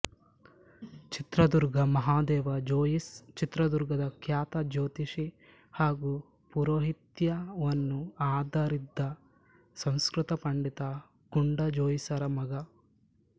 ಚಿತ್ರದುರ್ಗ ಮಹದೇವ ಜೋಯಿಸ್ ಚಿತ್ರದುರ್ಗದ ಖ್ಯಾತ ಜ್ಯೋತಿಷಿ ಹಾಗೂ ಪೌರೋಹಿತ್ಯವನ್ನು ಆಧರಿದ್ದ ಸಂಸ್ಕೃತ ಪಂಡಿತ ಗುಂಡಾಜೋಯಿಸರ ಮಗ